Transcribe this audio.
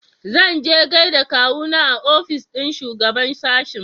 Zanje gaida kawuna a ofis ɗin shugaɓan sashen.